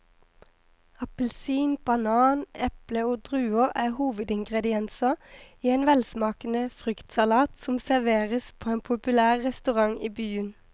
Appelsin, banan, eple og druer er hovedingredienser i en velsmakende fruktsalat som serveres på en populær restaurant i byen.